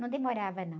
Não demorava, não.